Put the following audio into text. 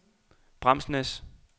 Bramsnæs